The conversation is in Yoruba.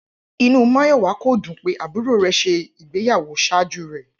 Inú Máyọ̀wá kò dùn pé àbúrò rẹ̀ ṣe ìgbéyàwó ṣájú rẹ̀